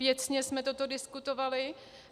Věcně jsme toto diskutovali.